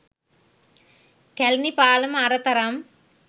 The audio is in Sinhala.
කැළණි පාලම අර තරම්